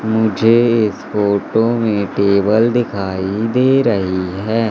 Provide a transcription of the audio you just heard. मुझे इस फोटो में टेबल दिखाई दे रही हैं।